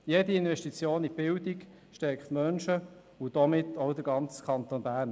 Jede Investition in die Bildung stärkt Menschen und damit auch den ganzen Kanton Bern.